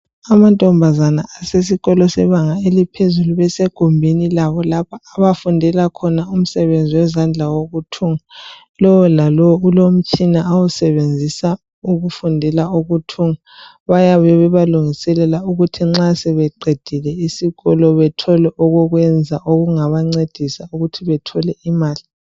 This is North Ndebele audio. Amantombazane asesikolo sebanga eliphezulu besegumbini labo lokufundela imisebenzi yezandla wokuthunga lolalowo olomutshina wakhe awusebenzisa ukufundela ukuthunga bayabe bebancedisa ukuthi nxa sebeqedile isikolo bathole intobezabapha imali.